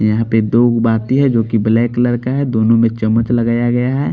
यहाँ पे दो है जोकि ब्लैक कलर का है दोनों में लगाया गया है।